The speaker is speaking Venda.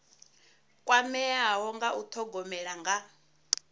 kwameaho nga u thogomela nga